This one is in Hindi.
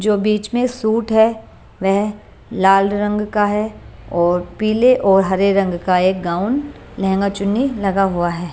जो बीच में सूट है वह लाल रंग का है और पीले और हरे रंग का एक गाउन लहंगा चुन्नी लगा हुआ है।